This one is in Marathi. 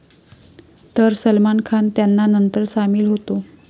तर सलमान खान त्यांना नंतर सामील होतो.